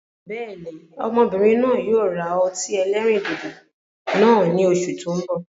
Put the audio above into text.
Bẹ́ẹ̀ni, Ọmọbìnrin náà yíi ó ra ọtí ẹlẹ́rìndòdò náà ni Oṣù tó ń bọ̀.